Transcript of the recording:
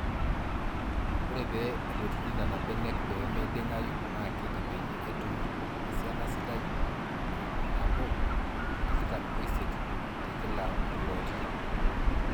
Ore pee edotuni Nena benek pee meiding'ayu naa keji peeyiee etumi esiana sidai e ipnabo otikitam oisiet tekila mploti.